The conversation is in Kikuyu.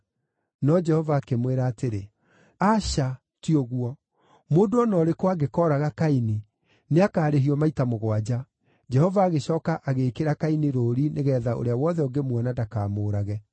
No Jehova akĩmwĩra atĩrĩ, “Aca, ti ũguo; mũndũ o na ũrĩkũ angĩkooraga Kaini, nĩakarĩhio maita mũgwanja.” Jehova agĩcooka agĩĩkĩra Kaini rũũri nĩgeetha ũrĩa wothe ũngĩmuona ndakamũũrage!